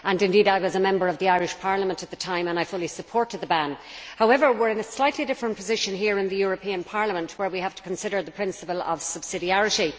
Indeed, I was a Member of the Irish Parliament at the time and I fully supported the ban. However, we are in a slightly different position here in the European Parliament, where we have to consider the principle of subsidiarity.